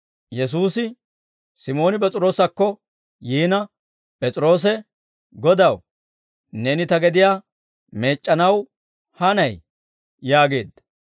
Yesuusi Simooni P'es'iroosakko yiina P'es'iroose, «Godaw, neeni ta gediyaa meec'c'anaw hanayiyee?» yaageedda.